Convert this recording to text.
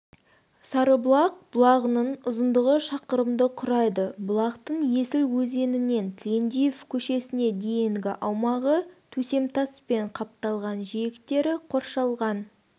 сарыбұлақ бұлағының ұзындығы шақырымды құрайды бұлақтың есіл өзенінен тілендиев көшесіне дейінгі аумағы төсемтаспен қапталған жиектері қоршалған